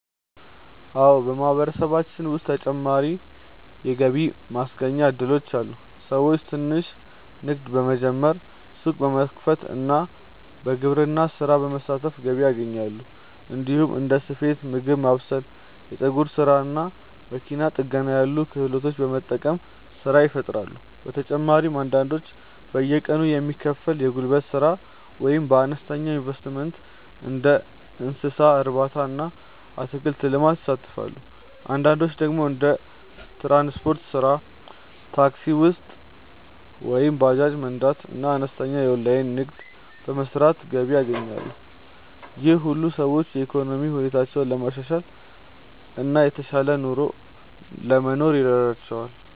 አዎ፣ በማህበረሰባችን ውስጥ ተጨማሪ የገቢ ማስገኛ እድሎች አሉ። ሰዎች ትንሽ ንግድ በመጀመር፣ ሱቅ በመክፈት እና በግብርና ስራ በመሳተፍ ገቢ ያገኛሉ። እንዲሁም እንደ ስፌት፣ ምግብ ማብሰል፣ የፀጉር ስራ እና መኪና ጥገና ያሉ ክህሎቶችን በመጠቀም ስራ ይፈጥራሉ። በተጨማሪም አንዳንዶች በየቀኑ የሚከፈል የጉልበት ስራ ወይም በአነስተኛ ኢንቨስትመንት እንደ እንስሳ እርባታ እና አትክልት ልማት ይሳተፋሉ። አንዳንዶች ደግሞ እንደ ትራንስፖርት ስራ (ታክሲ ወይም ባጃጅ መንዳት) እና አነስተኛ የኦንላይን ንግድ በመስራት ገቢ ያገኛሉ። ይህ ሁሉ ሰዎች የኢኮኖሚ ሁኔታቸውን ለማሻሻል እና የተሻለ ኑሮ ለመኖር ይረዳቸዋል።